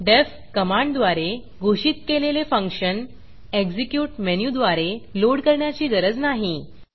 deffडेफ्फ कमांडद्वारे घोषित केलेले फंक्शन एक्झीक्यूट मेनूद्वारे लोड करण्याची गरज नाही